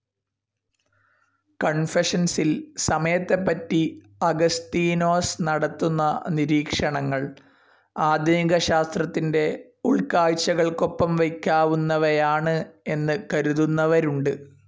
കൺഫെഷൻസിൽ സമയത്തെപ്പറ്റി അഗസ്തീനോസ് നടത്തുന്ന നിരീക്ഷണങ്ങൾ ആധുനിക ശാസ്ത്രത്തിന്റെ ഉൾകാഴ്ചകൾക്കൊപ്പം വയ്ക്കാവുന്നവയാണ് എന്നു കരുതുന്നവരുണ്ട്.